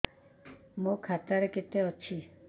ମୋ ଖାତା ରେ କେତେ ଅଛି